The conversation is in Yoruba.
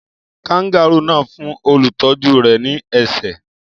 Kangárù náà fún olùtọ́jú rẹ̀ ní ẹ̀ṣẹ́?